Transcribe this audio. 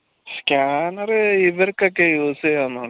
scanner ഇവർക്കൊക്കെ use എയ്യാവുന്നാണ്